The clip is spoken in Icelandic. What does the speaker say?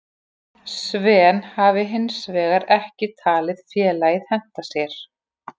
Sven hafi hinsvegar ekki talið félagið henta sér.